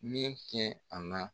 Min ye cɛn a la